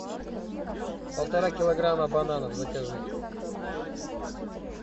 полтора килограмма бананов закажи